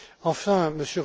Enfin,